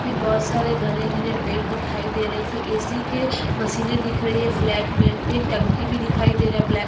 फिर बहुत सारे घने -घने पेड़ दिखाई दे रहे है फिर ऐसी के मशीने दिख रही है फ्लैट में फिर टंकी भी दिखाई दे रहा हैं ब्लैक--